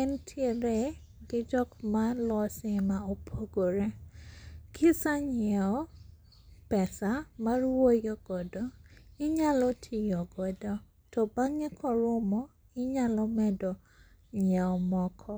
entiere gi jok malose ma opogore. Kisanyiewo pesa mar wuoyo godo, inyalo tiyo godo to bang'e korumo inyalo medo nyiewo moko.